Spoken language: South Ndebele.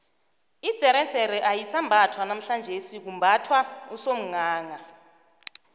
idzeredzere ayisambathwa namhlanjesi kumbathwa usomghangha